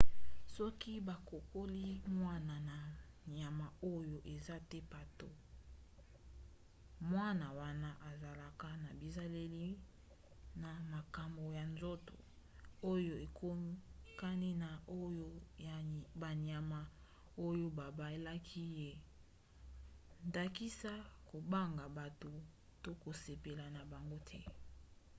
soki bakokoli mwana na banyama oyo eza te bato mwana wana azalaka na bizaleli na makambo ya nzoto oyo ekokani na oyo ya banyama oyo babaelaki ye na ndakisa kobanga bato to kosepela na bango te